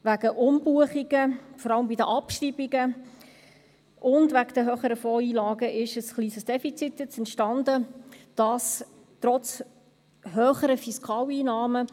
Wegen Umbuchungen, vor allem bei den Abschreibungen, und wegen den höheren Fondseinlagen ist jetzt ein kleines Defizit entstanden – dies trotz höheren Fiskaleinnahmen.